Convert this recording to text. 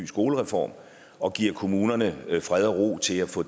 skolereform og giver kommunerne fred og ro til at få